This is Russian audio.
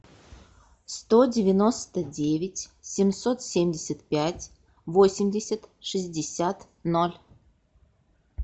сто девяносто девять семьсот семьдесят пять восемьдесят шестьдесят ноль